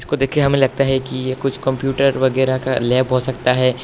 को देखकर हमें लगता है कि यह कुछ कंप्यूटर वगैरा का लैब हो सकता है।